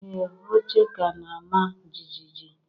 Ee, oche ka na-ama jijiji